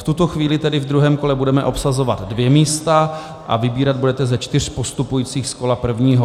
V tuto chvíli tedy ve druhém kole budeme obsazovat dvě místa a vybírat budete ze čtyř postupujících z kola prvního.